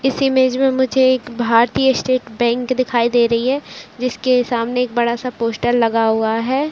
इस इमेज में मुझे एक भारतीय स्टेट बैंक दिखाई दे रही है जिसके सामने एक बड़ा सा पोस्टर लगा हुआ है।